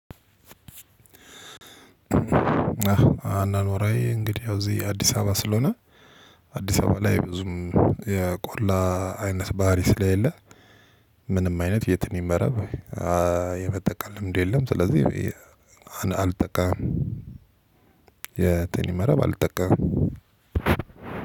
አኗኗሪ እንግዲህ ያው እዚህ አዲስ አበባ ስለሆነ አዲስ አበባ ላይ ብዙም የቆላ አይነት ባህሪ ስለሌለ ምንም አይነት የትንኝ መረብ የመጠቀም ልምድ የለም ስለዚህ አልጠቃምም። የትንኝ መረብ አልጠቀምም።